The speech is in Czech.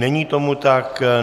Není tomu tak.